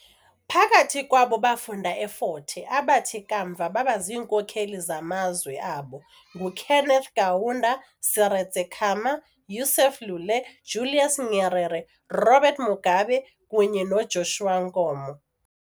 Phakathi kwabo bafunda eFort Hare abathi kamva baba ziinkokeli zamazwe abo nguKenneth Kaunda, Seretse Khama, Yusuf Lule, Julius Nyerere, Robert Mugabe kunye noJoshua Nkomo .